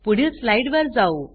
पुढील स्लाइड वर जाऊ